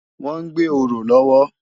Wòn gbé óró lòwò